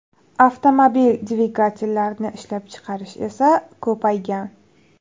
Avtomobil dvigatellarini ishlab chiqarish esa ko‘paygan.